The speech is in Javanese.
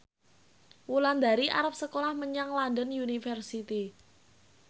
Wulandari arep sekolah menyang London University